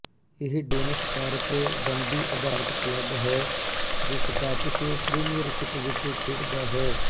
ਇਹ Dens Park Dundee ਅਧਾਰਤ club ਹੈ ਜੋ ਸਕਾਟਿਸ਼ ਪ੍ਰੀਮੀਅਰਸ਼ਿਪ ਵਿੱਚ ਖੇਡਦਾ ਹੈ